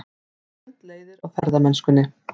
Hundleiðir á ferðamennskunni